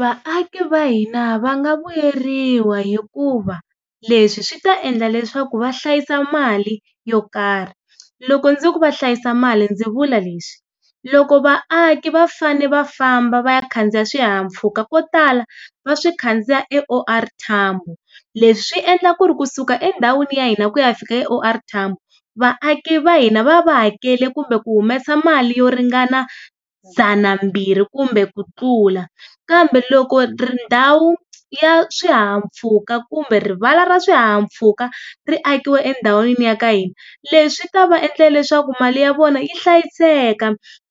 Vaaki va hina va nga vuyeriwa hikuva leswi swi ta endla leswaku va hlayisa mali yo karhi. Loko ndzi ku va hlayisa mali ndzi vula leswi, loko vaaki va fane va famba va ya khandziya swihahampfhuka ko tala va swi khandziya eO R Tambo, leswi swi endla ku ri kusuka endhawini ya hina ku ya fika eO R Tambo vaaki va hina va va hakele kumbe ku humesa mali yo ringana dzanambirhi kumbe ku tlula kambe loko ri ndhawu ya swihahampfhuka kumbe rivala ra swihahampfhuka ri akiwa endhawini ya ka hina leswi ta va endla leswaku mali ya vona yi hlayiseka.